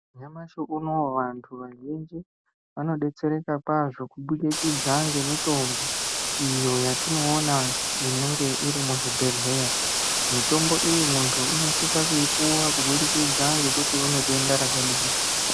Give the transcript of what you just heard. Nyamashi unowu vantu vazhinji ,vanodetsereka kwazvo kubudikidza ngemitambo, iyo yatinoona inenge iri muzvibhedhleya. Mitombo iyi muntu unosisa kuipuwa kubudikidza ngekuti une denda rakadini.